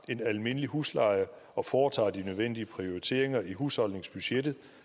en almindelig husleje og foretager de nødvendige prioriteringer i husholdningsbudgettet